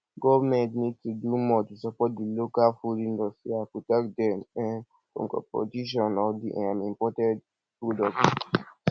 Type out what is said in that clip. government need to do more to support di local food industry and protect dem um from compotition of di um imported products